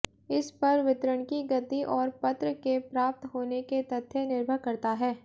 इस पर वितरण की गति और पत्र के प्राप्त होने के तथ्य निर्भर करता है